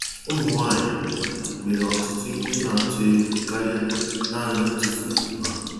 Ụmụ nwanyị nwere ọtụtụ ihe na-atụ egwu karịa naanị itufu ùgwù ha.